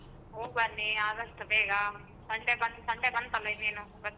ಹೋಗ್ಬನ್ನಿ ಆದಷ್ಟು ಬೇಗಾ Sunday ಬಂತ್ Sunday ಬಂತಲ್ಲ ಇನ್ನೆನು .